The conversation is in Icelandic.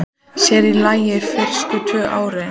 Sér í lagi fyrstu tvö árin.